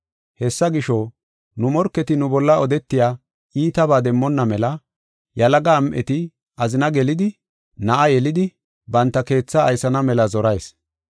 Hessa gisho, nu morketi nu bolla odetiya iitabaa demmonna mela yalaga am7eti azina gelidi, na7a yelidi, banta keethaa aysana mela zorayis.